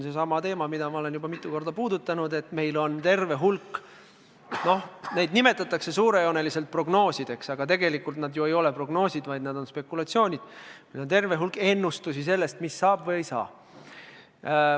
See on seesama teema, mida ma olen juba mitu korda puudutanud, et meil on terve hulk – noh, neid nimetatakse suurejooneliselt prognoosideks, aga tegelikult need ei ole ju prognoosid, vaid need on spekulatsioonid – ennustusi sellest, mis saab või ei saa.